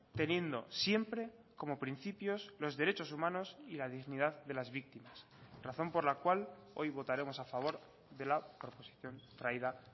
teniendo siempre como principios los derechos humanos y la dignidad de las víctimas razón por la cual hoy votaremos a favor de la proposición traída